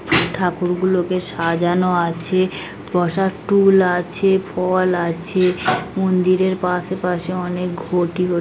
ঠাকুর গুলোকে সাজানো আছে বসার টুল আছে ফল আছে মন্দিরের পাশে পাশে অনেক ঘটি গু --